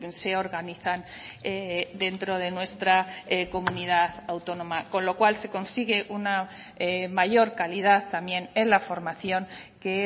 se organizan dentro de nuestra comunidad autónoma con lo cual se consigue una mayor calidad también en la formación que